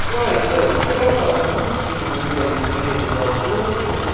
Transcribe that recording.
давайте давайте я послушаю у меня есть время послушать